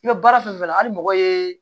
I bɛ baara fɛn fɛn la hali mɔgɔ ye